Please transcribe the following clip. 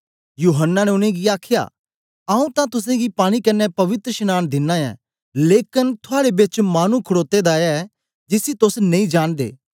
यूहन्ना ने उनेंगी आखया आऊँ तां तुसेंगी पानी कन्ने पवित्रशनांन दिना ऐं लेकन थुआड़े बेच मानु खडोते दा ऐ जिसी तोस नेई जांनदे